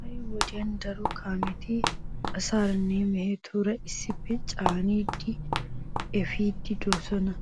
Ha"i wodiyan daro kaameti asaaranne mehetuura issippe caanidi efiiddi de'oosona.